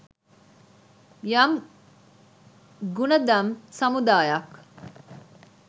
යම් ගුණදම් සමුදායක්.